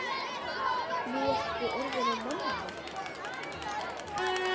Nú ertu orðinn að manni.